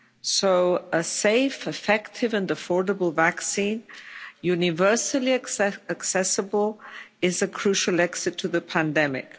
So a safe, effective and affordable vaccine, universally accessible, is a crucial exit to the pandemic.